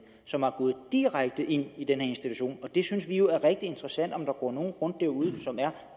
som er gået direkte ind i en institution vi synes jo det er rigtig interessant om der går nogle rundt derude som er